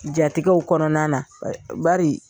Jatigɛw kɔnɔna na bari